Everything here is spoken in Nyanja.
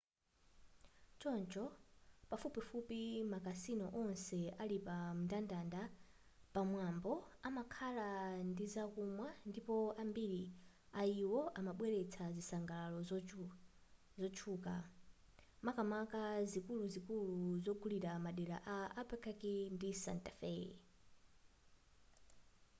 choncho pafupifupi makasino onse ali pamndandanda pamwambapo amakhala ndizakumwa ndipo ambiri ayiwo amabweretsa zisangalaro zotchuka makamaka zikuluzikulu zongulira madera a albuquerque ndi santa fe